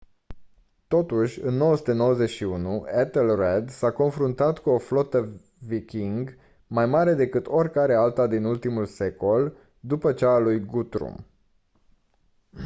totuși în 991 ethelred s-a confruntat cu o flotă viking mai mare decât oricare alta din ultimul secol după cea a lui guthrum